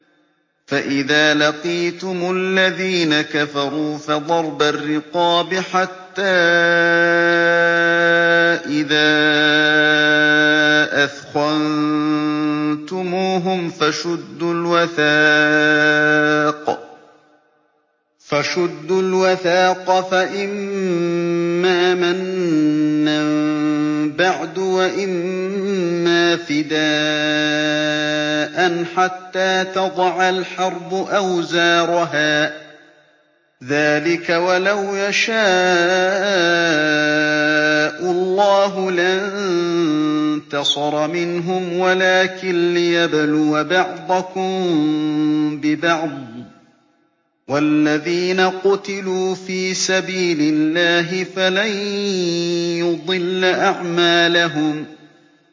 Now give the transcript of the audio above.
فَإِذَا لَقِيتُمُ الَّذِينَ كَفَرُوا فَضَرْبَ الرِّقَابِ حَتَّىٰ إِذَا أَثْخَنتُمُوهُمْ فَشُدُّوا الْوَثَاقَ فَإِمَّا مَنًّا بَعْدُ وَإِمَّا فِدَاءً حَتَّىٰ تَضَعَ الْحَرْبُ أَوْزَارَهَا ۚ ذَٰلِكَ وَلَوْ يَشَاءُ اللَّهُ لَانتَصَرَ مِنْهُمْ وَلَٰكِن لِّيَبْلُوَ بَعْضَكُم بِبَعْضٍ ۗ وَالَّذِينَ قُتِلُوا فِي سَبِيلِ اللَّهِ فَلَن يُضِلَّ أَعْمَالَهُمْ